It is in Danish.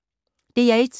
DR1